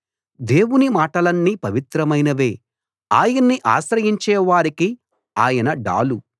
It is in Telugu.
దేవుని మాటలన్నీ పవిత్రమైనవే ఆయన్ని ఆశ్రయించే వారికి ఆయన డాలు